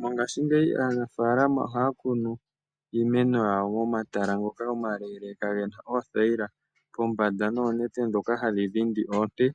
Mongashi ngeyi aanafalama ohaa kunu iimeno yawo momatala ngoka omaleeleka gena oothayila pombanda noonete ndhoka hadhi dhindi oonte